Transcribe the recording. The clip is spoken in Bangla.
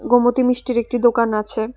গোমতী মিষ্টির একটি দোকান আছে।